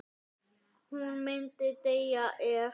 Hún myndi deyja ef.?